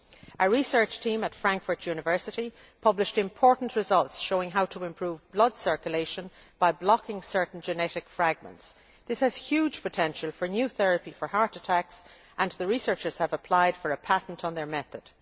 A research team at Frankfurt University published important results showing how to improve blood circulation by blocking certain genetic fragments. This has huge potential for new therapy for heart attacks, and the researchers have applied for a patent on their method.